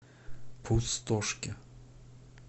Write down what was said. пустошке